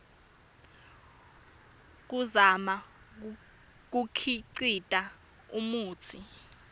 kuzama kukhicita umutsi